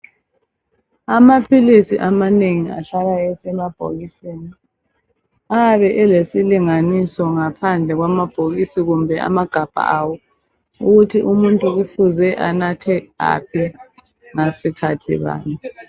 Amaphilisi amanengi ahlala esemabhokisini. Ayabe elesilinganiso, ngaphandle kwamabhokisi, kumbe amagabha awo. Ukuthi umuntu kufuze anathe aphi, ngasikhathi bani.